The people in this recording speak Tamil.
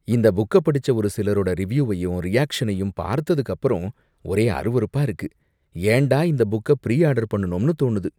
இந்த புக்க படிச்ச ஒரு சிலரோட ரிவ்யுவையும் ரியாக்சனையும் பார்த்ததுக்கு அப்பறம் ஒரே அருவருப்பா இருக்கு, ஏண்டா இந்த புக்க ப்ரீ ஆர்டர் பண்ணுனோம்னு தோணுது.